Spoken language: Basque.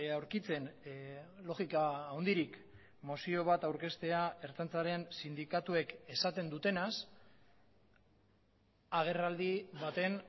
aurkitzen logika handirik mozio bat aurkeztea ertzaintzaren sindikatuek esaten dutenaz agerraldi baten